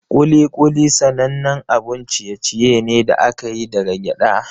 Kuli-kuli sanannen abun ciye-ciye ne da aka yi daga gyada.